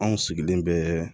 Anw sigilen bɛ